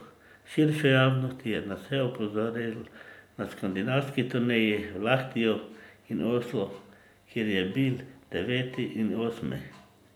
Širšo javnost je nase opozoril na skandinavski turneji v Lahtiju in Oslu, kjer je bil deveti in osmi.